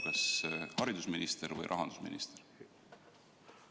Kas see oli haridusminister või rahandusminister?